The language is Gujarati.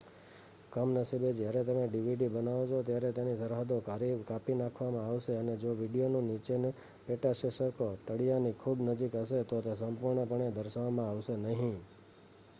કમનસીબે જ્યારે તમે ડીવીડી બનાવો છો ત્યારે તેની સરહદો કાપી નાખવામાં આવશે અને જો વીડિયોની નીચેનું પેટાશીર્ષક ો તળીયાની ખૂબ નજીક હશે તો તે સંપૂર્ણપણે દર્શાવવામાં આવશે નહીં